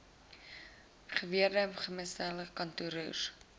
geweegde gemiddelde kontantkoers